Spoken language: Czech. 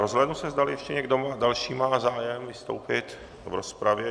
Rozhlédnu se, zdali ještě někdo další má zájem vystoupit v rozpravě.